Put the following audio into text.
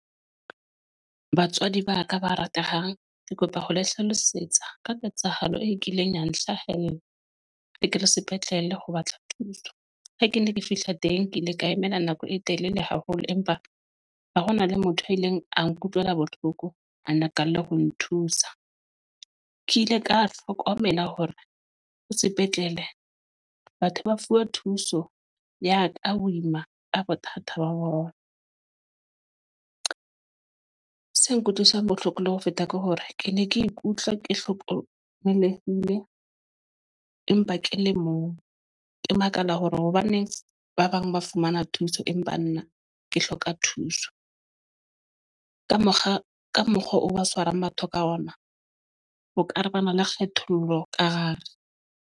Batswadi ba ka ba ratehang, ke kopa ho le hlalosetsa ka ketsahalo e kileng ya nhlahella rekele sepetlele ho batla thuso. Ha ke ne ke fihla teng ke ile ka emela nako e telele haholo. Empa ba hona le motho a ileng a nkutlwele bohloko, a na qalelle ho nthusa. Ke ile ka hlokomela hore ho sepetlele batho ba fuwa thuso ya ka wilma ka bothata ba bona . Se nkutlwisang bohloko le ho feta ke hore ke ne ke ikutlwa ke hlokomelehile empa ke le mong. Ke makala hore hobaneng ba bang ba fumana thuso empa nna ke hloka thuso. Ka mokgwa ka mokgwa o ba tshwarang batho ka ona bo caravans le kgethollo ka hare.